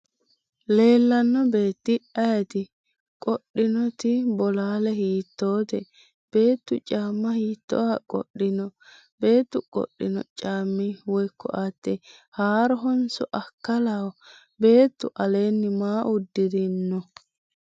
Leellanno beetti ayeeti? Qodhinoti bolaale hiittoote? Beettu caamma hiittooha qodhino? Beettu qodhino caammi woyi ko'atte haarohonso akkalaho? Beetu aleenni maa uddirino?